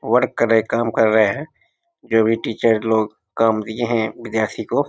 Work कर रहे हैं काम कर रहे हैं जो भी टीचर लोग काम दिए हैं विद्यार्थी को ।